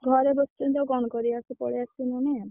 ଘରେ ବସିଛନ୍ତି ଆଉ କଣ କରିବା ସେ ପଳେଈ ଆସିବଣି।